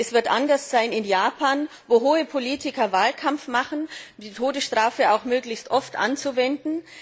Es wird anders sein in Japan, wo hohe Politiker Wahlkampf machen und die Todesstrafe auch möglichst oft anwenden.